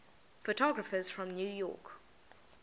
photographers from new york